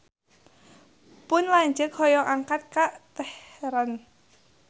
Pun lanceuk hoyong angkat ka Teheran